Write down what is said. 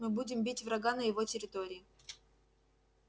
мы будем бить врага на его территории